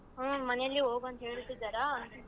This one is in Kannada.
ಹುಮ್ಮ್ ಮನೇಲಿ ಹೋಗು ಅಂತ ಹೇಳ್ತಿದಾರಾ?